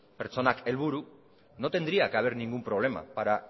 pertsonak helburu no tendría que haber ningún problema para